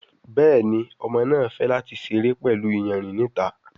Béèni Ọmọ náa fè láti seré pẹlú iyanrìn ní ìta.